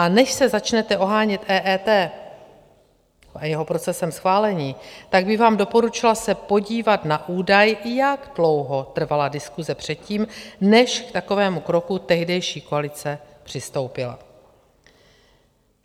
A než se začnete ohánět EET a jeho procesem schválení, tak bych vám doporučila se podívat na údaj, jak dlouho trvala diskuse předtím, než k takovému kroku tehdejší koalice přistoupila.